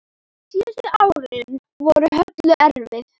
Síðustu árin voru Höllu erfið.